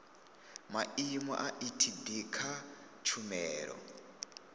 maimo a etd kha tshumelo